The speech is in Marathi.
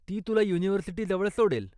ती तुला युनिव्हर्सिटी जवळ सोडेल.